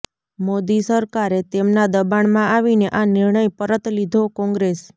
મોદી સરકારે તેમના દબાણમાં આવીને આ નિર્ણય પરત લીધોઃ કોંગ્રેસ